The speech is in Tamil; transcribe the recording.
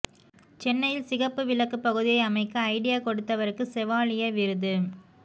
சென்னையில் சிகப்பு விளக்கு பகுதியை அமைக்க ஐடியா கொடுத்தவருக்கு செவாலியர் விருது